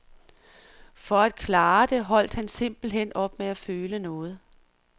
For at klare det holdt han simpelthen op med at føle noget.